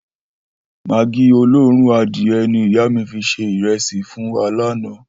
Magí olóòrùn adìye̩ ni ìyá mi fi se ìre̩sì fún wa lánàá